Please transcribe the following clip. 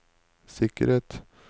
sikkerhet